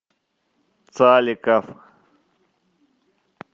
цаликов